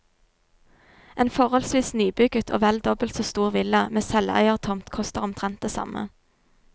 En forholdsvis nybygget og vel dobbelt så stor villa med selveiertomt koster omtrent det samme.